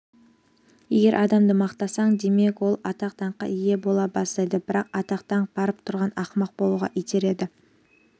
егер адамды мақтасаң демек ол атақ-даңққа ие бола бастайды бірақ атақ-даңқ барып тұрған ақымақ болуға итереді